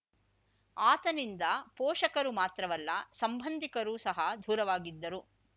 ಆತನಿಂದ ಪೋಷಕರು ಮಾತ್ರವಲ್ಲ ಸಂಬಂಧಿಕರು ಸಹ ದೂರವಾಗಿದ್ದರು